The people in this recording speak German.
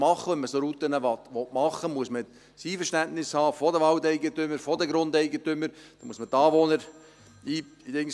Und wenn man solche Routen machen will, muss man das Einverständnis der Waldeigentümer haben, der Grundeigentümer, man muss die Anwohner einbeziehen